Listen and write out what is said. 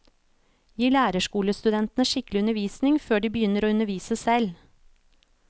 Gi lærerskolestudentene skikkelig undervisning før de begynner å undervise selv.